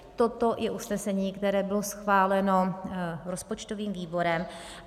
Toto je usnesení, které bylo schváleno rozpočtovým výborem.